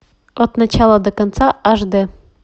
от начала до конца аш дэ